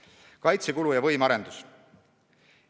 Nüüd kaitsekulust ja võimearendusest.